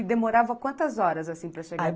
E demorava quantas horas, assim, para chegar?